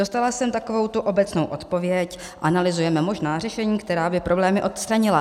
Dostala jsem takovou tu obecnou odpověď - analyzujeme možná řešení, která by problémy odstranila.